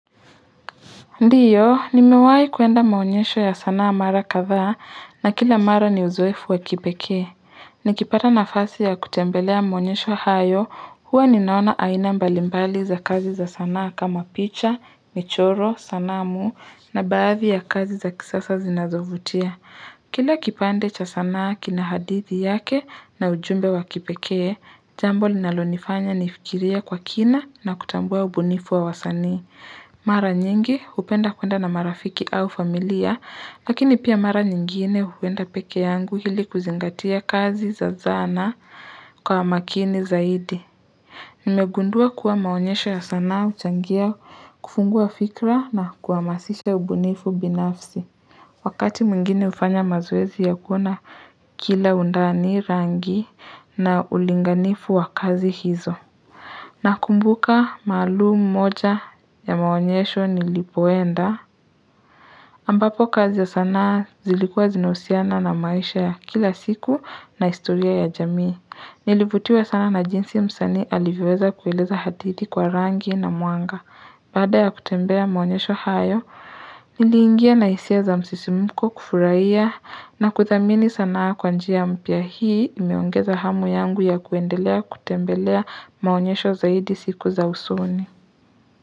Ndiyo, nimewai kuenda maonyesho ya sanaa mara kadha na kila mara ni uzoefu wa kipekee. Nikipata nafasi ya kutembelea maonyesho hayo huwa ninaona aina mbalimbali za kazi za sanaa kama picha, michoro, sanamu na baadhi ya kazi za kisasa zinazovutia. Kila kipande cha sanaa kina hadithi yake na ujumbe wa kipekee, jambo linalonifanya nifikirie kwa kina na kutambua ubunifu wa wasani. Mara nyingi hupenda kwenda na marafiki au familia, lakini pia mara nyingine huwenda peke yangu hili kuzingatia kazi za zana kwa makini zaidi. Nimegundua kuwa maonyesho ya sanaa huchangia kufungua fikra na kuhamasisha ubunifu binafsi. Wakati mwingine hufanya mazoezi ya kuona kila undani rangi na ulinganifu wa kazi hizo. Na kumbuka maalumu moja ya maonyesho nilipoenda, ambapo kazi za sanaa zilikua zinahusiana na maisha ya kila siku na historia ya jamii. Nilivutiwa sana na jinsi msanii alivyoweza kueleza hadithi kwa rangi na mwanga. Baada ya kutembea maonyesho hayo, nili ingia na hisia za msisimuko kufurahiya na kuthamini sana kwa njia mpya hii imeongeza hamu yangu ya kuendelea kutembelea maonyesho zaidi siku za usoni.